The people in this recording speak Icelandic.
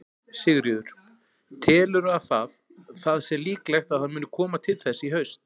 Sigríður: Telurðu að það, það sé líklegt að það muni koma til þess í haust?